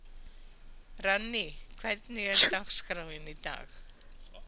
Runný, hvernig er dagskráin í dag?